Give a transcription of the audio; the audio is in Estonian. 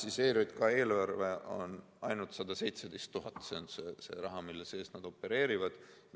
ERJK eelarve on ainult 117 000, see on see raha, mille piires nad opereerivad.